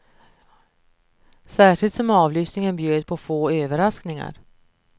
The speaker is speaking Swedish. Särskilt som avlyssningen bjöd på få överraskningar.